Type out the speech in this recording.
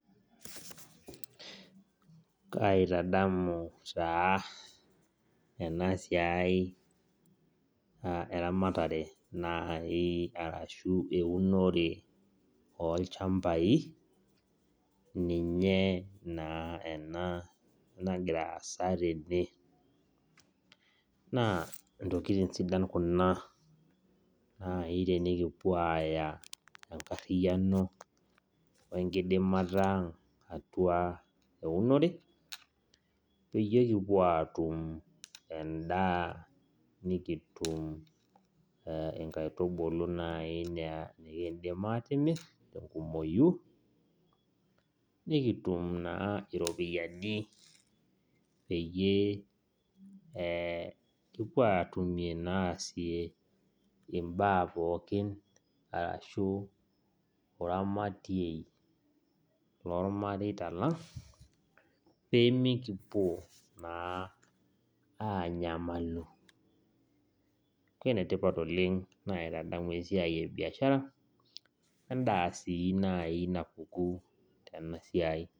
Kaitadanu taa ena siai eramatare naai ashuu eunore olchambai ninye ena nagira aasa tene naa intokitin sidai kuna tenikipuo aaya eunore peyie kipuo aatum endaa ashua inkaitubulu naaji nikindim aatimir enkumoyu nikitum naaji iropiyiani nikipuo aasie imbaapokin ashua oramatie loormareita lang pemikipuo na anyam neeku enetipat naitadamu esiai napuku tena siai.